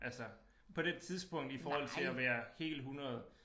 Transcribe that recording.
Altså på det tidspunkt i forhold til at være helt 100